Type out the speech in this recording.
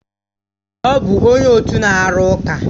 Ọ bụ onye otu na-arụ ụka